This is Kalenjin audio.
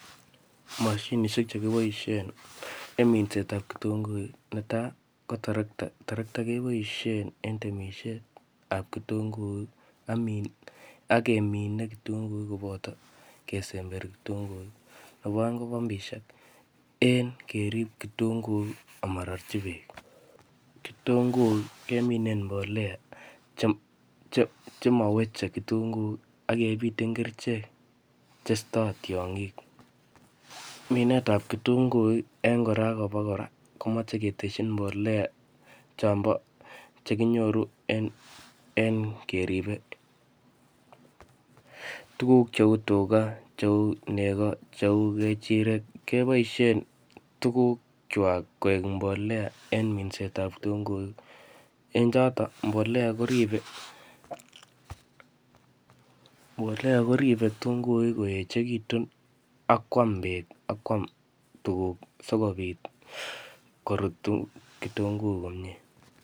Mashinishek che kiboisien en minset ap ketunguuk, ne tai, ko torokta. Torokta keboisien en temishet ap ketunguuk, ak min-akemine ketunguk koboto kesember ketunguuk. Nebo aeng ko pampishek. En kerip ketunguuk amarorchi beek. Ketunguuk, keminee en mbolea che-che-che maweche ketunguuk akebiten kerichek che istoi tiongik. Minet ap ketunguuk eng kora akobo kora, kemache keteshin mbolea chobon che kinyoru en eng keripen tugun cheu tuga, cheu nego, cheu kejirek. Keboisien tuguk chwak koek mbolea en minset ap ketunguuk. Eng chotok, mbolea koribe mbolea koribe ketunguuk koechekitun akwam bet akwam tuguk sikobit korutu ketunguuk komyee.